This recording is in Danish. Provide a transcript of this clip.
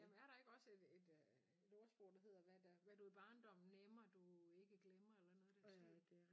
Jamen er der ikke også et et et ordsprog der hedder hvad der hvad du i barndommen nemmer du ikke glemmer eller noget i den stil